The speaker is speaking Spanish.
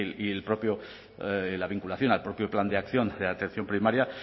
y el propio la vinculación al propio plan de acción de atención primaria